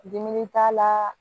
Dimi t'a la